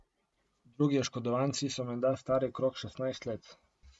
Drugi oškodovanci so menda stari okrog šestnajst let.